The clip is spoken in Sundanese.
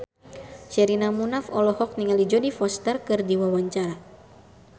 Sherina Munaf olohok ningali Jodie Foster keur diwawancara